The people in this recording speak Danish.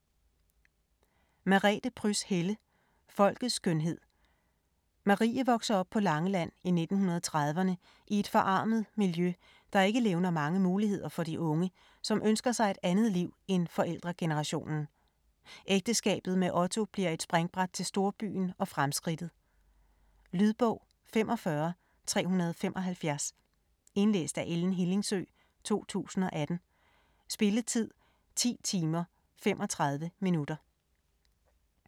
Helle, Merete Pryds: Folkets skønhed Marie vokser op på Langeland i 1930'erne i et forarmet miljø, der ikke levner mange muligheder for de unge, som ønsker sig et andet liv end forældregenerationen. Ægteskabet med Otto bliver et springbræt til storbyen og fremskridtet. Lydbog 45375 Indlæst af Ellen Hillingsø, 2018. Spilletid: 10 timer, 35 minutter.